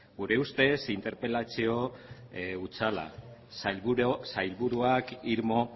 gure ustez interpelazio hutsala sailburuak irmo